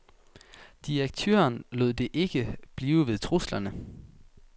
Direktøren lod det ikke blive ved truslerne.